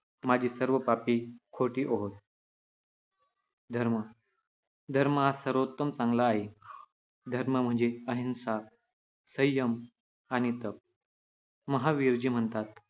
माझी सर्व पापे खोटी होवोत. ' धर्म धर्म हा सर्वोत्तम चांगला आहे. धर्म म्हणजे अहिंसा, संयम आणि तप. महावीरजी म्हणतात,